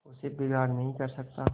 उससे बिगाड़ नहीं कर सकता